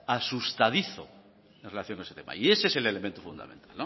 asustadizo en relación con ese tema y ese es el elemento fundamental